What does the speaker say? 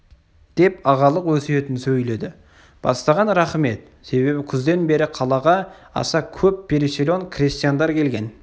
деп ағалық өсиетін сөйледі бастаған рахым еді себебі күзден бері қалаға аса көп переселен крестьяндар келген